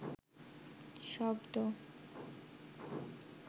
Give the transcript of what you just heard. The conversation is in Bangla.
শব্দ